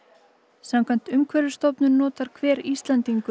samkvæmt Umhverfisstofnun notar hver Íslendingur